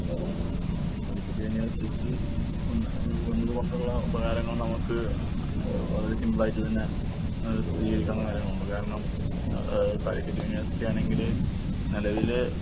ഉം കാലിക്കറ്റ് യൂണിവേഴ്‌സിറ്റി വന്ന് ഏഹ് വന്നതുകൊണ്ടുള്ള ഉപകാരങ്ങൾ നമുക്ക് ഏഹ് വളരെ സിംപിളായിട്ട് തന്നെ ഏഹ് സ്ഥിതീകരിക്കാവുന്ന കാര്യങ്ങളേ ഉള്ളു. കാരണം എഹ് ഏഹ് കാലിക്കറ്റ് യൂണിവേഴ്‌സിറ്റിയാണെങ്കില് നിലവില്